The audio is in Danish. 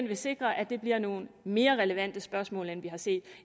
vil sikre at det bliver nogle mere relevante spørgsmål end vi har set